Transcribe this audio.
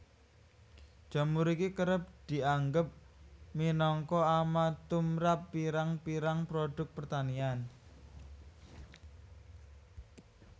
Jamur iki kerep dianggep minangka ama tumrap pirang pirang produk pertanian